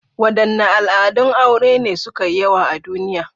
Wadanne al'adun aure ne suka yi yawa a duniya?